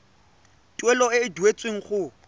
tuelo e e duetsweng go